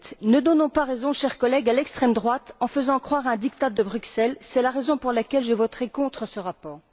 7. Ne donnons pas raison, chers collègues, à l'extrême droite en faisant croire à un diktat de Bruxelles. C'est la raison pour laquelle je voterai contre ce rapport.